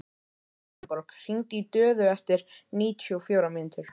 Elenborg, hringdu í Döðu eftir níutíu og fjórar mínútur.